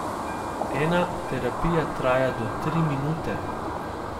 Ena terapija traja do tri minute.